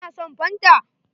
Ka na son fanta?